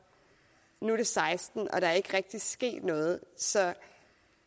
nu er det seksten og der er ikke rigtig sket noget så